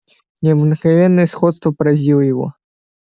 необыкновенное сходство поразило его